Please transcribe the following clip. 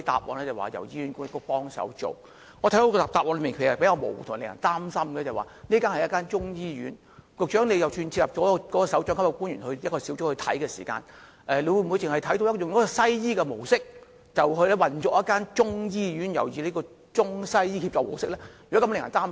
我認為這個答案比較模糊且令人擔心，這是一間中醫醫院，即使如局長所說會開設一個專責組別來管理，但是會否以西醫的模式來運作一間採用中西醫協作模式的中醫醫院，這方面實在令人擔心。